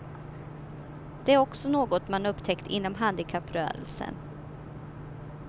Det är också något man upptäckt inom handikapprörelsen.